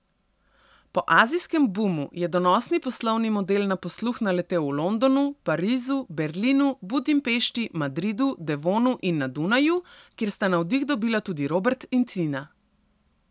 Po azijskem bumu je donosni poslovni model na posluh naletel v Londonu, Parizu, Berlinu, Budimpešti, Madridu, Devonu in na Dunaju, kjer sta navdih dobila tudi Robert in Tina.